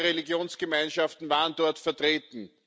Auch andere Religionsgemeinschaften waren dort vertreten.